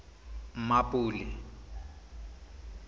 mmapule